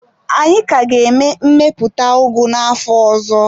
Anyị ka ga-eme mmepụta ugu n'afọ ọzọ.